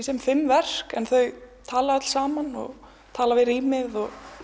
sem fimm verk en þau tala öll saman og tala við rýmið